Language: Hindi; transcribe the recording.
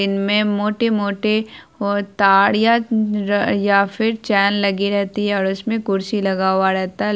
इनमें मोटे-मोटे और तरिया र या फिर चैन लगी रहती है और उसमें कुर्सी लगा हुआ रहता है ले --